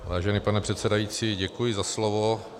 Vážený pane předsedající, děkuji za slovo.